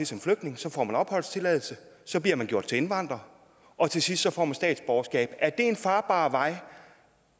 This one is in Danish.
som flygtning så får man opholdstilladelse så bliver man gjort til indvandrer og til sidst får man statsborgerskab er det en farbar vej